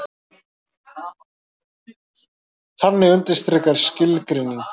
Þannig undirstrikar skilgreining